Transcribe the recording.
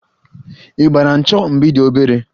Ị gbara 'ncho' mgbe ị dị obere?